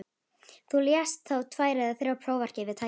Þú lest þá tvær eða þrjár prófarkir við tækifæri.